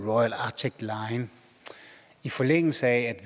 royal arctic line i forlængelse af